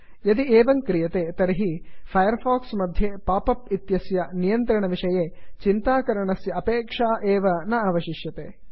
यदि एवं क्रियते तर्हि फैर् फाक्स् मध्ये पाप् अप् इत्यस्य नियन्त्रणविषये चिन्ता करणस्य अपेक्षा एव न अवशिष्यते